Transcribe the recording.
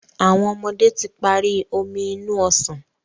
àwọn ọmọdé tí parí Omi inú ọsàn